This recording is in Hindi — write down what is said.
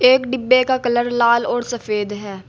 एक डिब्बे का कलर लाल और सफेद है।